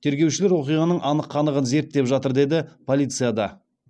тергеушілер оқиғаның анық қанығын зерттеп жатыр деді полицияда